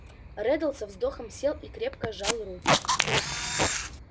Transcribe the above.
реддл со вздохом сел и крепко сжал руки